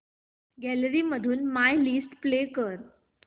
gallery मधून my list play कर